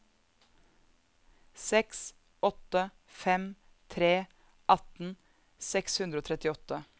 seks åtte fem tre atten seks hundre og trettiåtte